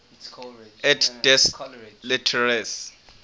et des lettres